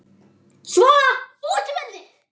Svona, út með þig!